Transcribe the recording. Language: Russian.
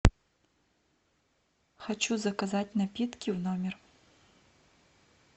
хочу заказать напитки в номер